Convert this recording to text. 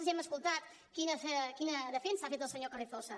ja hem escoltat quina defensa ha fet el senyor carrizosa